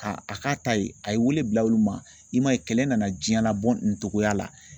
Ka a k'a ta ye a ye wele bila olu ma i m'a ye kɛlɛ nana diɲɛ labɔ nin togoya la.